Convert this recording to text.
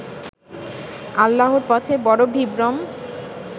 আল্লাহর পথে বড় বিভ্রম